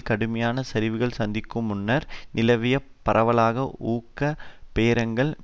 கடுமையான சரிவுகளை சந்திக்கும் முன்னர் நிலவிய பரவலான ஊக பேரங்களும்